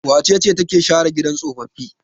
Wace ce take share gidan tsofaffi?